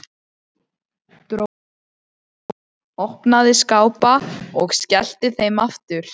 Dró til stóla, opnaði skápa og skellti þeim aftur.